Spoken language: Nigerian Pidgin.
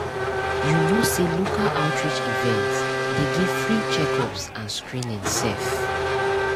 you know say local outreach events dey give free checkups and screening sef.